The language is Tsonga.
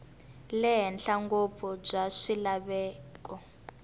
le henhla ngopfu bya swilaveko